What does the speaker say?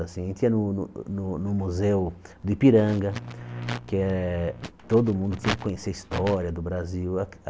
A gente ia no no no Museu do Ipiranga, que é todo mundo tinha que conhecer a história do Brasil.